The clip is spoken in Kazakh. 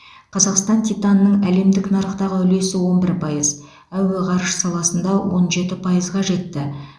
қазақстан титанының әлемдік нарықтағы үлесі он бір пайыз әуе ғарыш саласында он жеті пайызға жетті